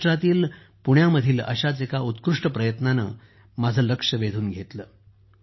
महाराष्ट्रातील पुण्यामधील अश्याच एका उत्कृष्ट प्रयत्नाने माझे लक्ष वेधून घेतले आहे